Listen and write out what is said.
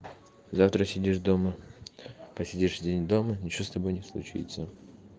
завтра сидишь дома посидишь день дома ничего с тобой не случится